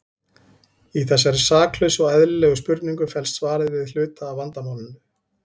Í þessari saklausu og eðlilegri spurningu felst svarið við hluta af vandamálinu.